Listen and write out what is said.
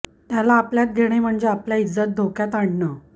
त्याला आपल्यात घेणे म्हणजे आपल्या इज्जत धोक्यात आणणं